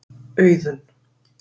Auðunn